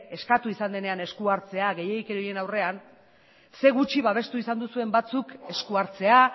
eskatu izan denean esku hartzea gehiegikerien aurrean zein gutxi babestu izan duzuen batzuk esku hartzea